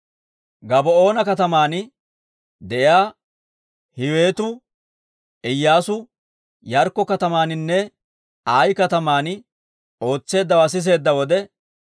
Gabaa'oona kataman de'iyaa Hiiwetu Iyyaasu Yaarikko katamaaninne Ayi kataman ootseeddawaa siseedda wode,